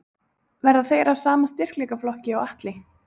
Verða þeir af sama styrkleikaflokki og Atli?